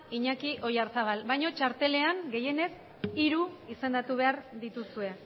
iñaki oyarzabal baina txartelean gehienez hiru izendatu behar dituzue